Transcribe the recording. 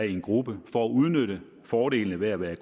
i en gruppe for at udnytte fordelene ved at være